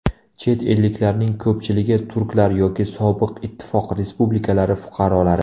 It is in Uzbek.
Chet elliklarning ko‘pchiligi turklar yoki sobiq ittifoq respublikalari fuqarolari.